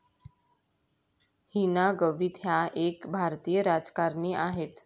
हिना गवित ह्या एक भारतीय राजकारणी आहेत.